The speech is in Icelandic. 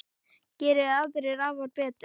Geri aðrir afar betur.